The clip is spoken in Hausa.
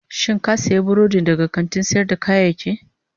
Shin ka sayi burodin daga kantin sayar da kayayyaki?